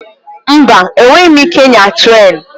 Mba! Enweghị m ike ịnya trén.